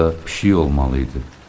Burda pişik olmalı idi.